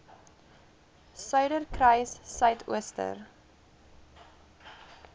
suiderkruissuidooster